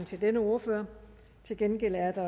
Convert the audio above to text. til denne ordfører til gengæld er der